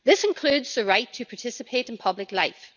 This includes the right to participate in public life.